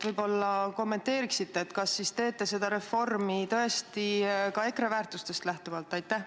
Võib-olla kommenteeriksite, kas te teete seda reformi ka EKRE väärtustest lähtuvalt?